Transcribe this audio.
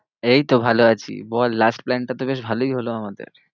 এইতো ভালো আছি। বল last plan টা তো বেশ ভালোই হলো আমাদের।